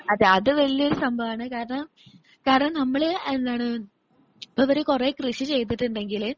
അതെ അതു വലിയൊരു സംഭവമാണ് കാരണം കാരണം നമ്മൾ എന്താണ് ഇപ്പോ അവര് കുറേ കൃഷി ചെയ്തിട്ടുണ്ടെങ്കില്